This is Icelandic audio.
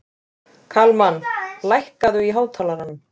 Kalmann, lækkaðu í hátalaranum.